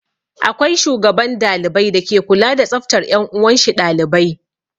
Akwai shugaban dalibai dake kula da tsaftar 'yan uwanshi ɗalibai.